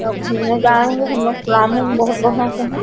सब घूमने जा रहे हैहमलोग परामून बहुत बढ़िया से है।